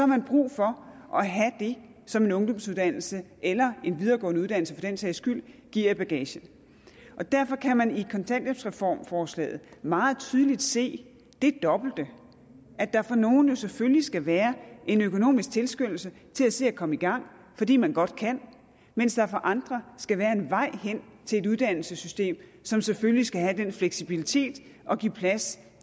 man brug for at have det som en ungdomsuddannelse eller en videregående uddannelse for den sags skyld giver i bagagen derfor kan man i kontanthjælpsreformforslaget meget tydeligt se det dobbelte at der for nogle jo selvfølgelig skal være en økonomisk tilskyndelse til at se at komme i gang fordi man godt kan mens der for andre skal være en vej hen til et uddannelsessystem som selvfølgelig skal have den fleksibilitet at give plads